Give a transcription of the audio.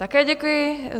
Také děkuji.